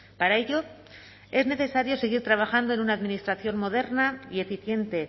para ello es necesario seguir trabajando en una administración moderna y eficiente